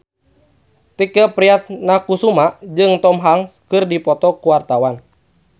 Tike Priatnakusuma jeung Tom Hanks keur dipoto ku wartawan